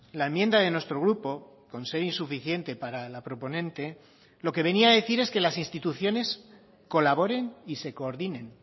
la enmienda de nuestro grupo con ser insuficiente para la proponente lo que venía a decir es que las instituciones colaboren y se coordinen